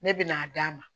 Ne bɛ n'a d'a ma